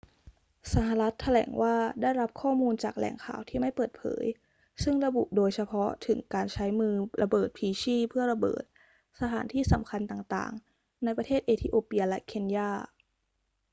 สหรัฐฯ แถลงว่าได้รับข้อมูลจากแหล่งข่าวที่ไม่เปิดเผย ซึ่งระบุโดยเฉพาะถึงการใช้มือระเบิดพลีชีพเพื่อระเบิด สถานที่สำคัญต่าง ๆ ในประเทศเอธิโอเปียและเคนยา